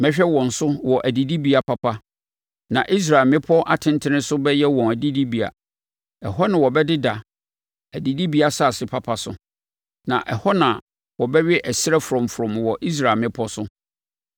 Mehwɛ wɔn so wɔ adidibea papa, na Israel mmepɔ atentene so bɛyɛ wɔn adidibea. Ɛhɔ na wɔbɛdeda adidibea asase papa so, na ɛhɔ na wɔbɛwe ɛserɛ frɔmfrɔm wɔ Israel mmepɔ so.